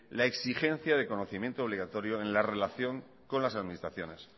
la exigencia del conocimiento obligatorio en la relación con las administraciones